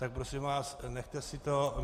Tak prosím vás, nechte si to.